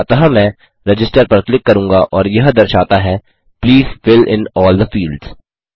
अतः मैं रजिस्टर पर क्लिक करूँगा और यह दर्शाता है please fill in all the fields